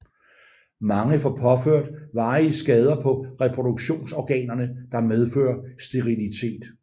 Mange får påført varige skader på reproduktionsorganerne der medfører sterilitet